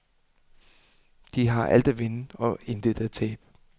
De har alt at vinde og intet at tabe.